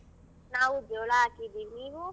ನಾವು ಜೋಳ ಹಾಕಿದೀವಿ ನೀವು?